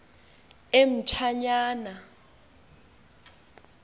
emtshanyana